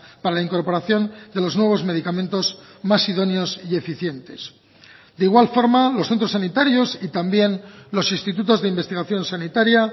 para la incorporación de los nuevos medicamentos más idóneos y eficientes de igual forma los centros sanitarios y también los institutos de investigación sanitaria